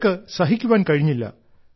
അവർക്ക് സഹിക്കുവാൻ കഴിഞ്ഞില്ല